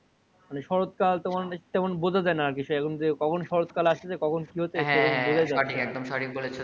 মানে শরৎ কাল তেমন বোঝা যাই না আর কিছু এখন যে কখন শরৎ কাল আসতেছে কখন কি হচ্ছে কিছই বোঝাই যাই না হ্যা সঠিক একদম সঠিক বলেছো